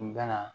U bɛna